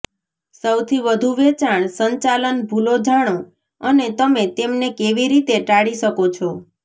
સૌથી વધુ વેચાણ સંચાલન ભૂલો જાણો અને તમે તેમને કેવી રીતે ટાળી શકો છો